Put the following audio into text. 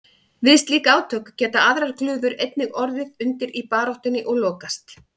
Við slík átök geta aðrar glufur einnig orðið undir í baráttunni og lokast.